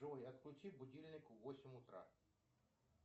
джой отключи будильник в восемь утра